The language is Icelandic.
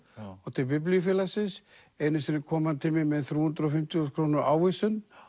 og til Biblíufélagsins einu sinni kom hann til mín með þrjú hundruð og fimmtíu þúsund króna ávísun